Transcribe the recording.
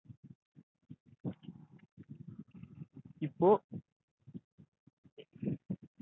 இப்போ